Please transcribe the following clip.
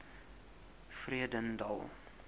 vredendal